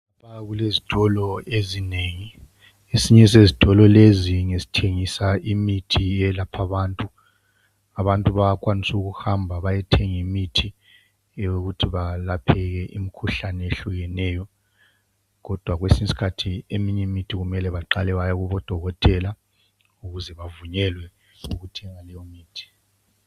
Kukhanya kulesitolo ezinengi esinye sezitolo lezi ngesithengisa imithi eyelapha abantu abantu bayakwanisa ukuhamba bayethenga imithi yokuthi balapheke imkhuhlane eyehlukeneyo kodwa kwesinye iskhathi eminye imithi kumele baqale baye kubodokotela ukuze bavunyelwe ukuthenga leyomuthi.